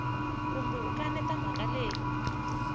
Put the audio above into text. kumbe u kaneta mhaka leyi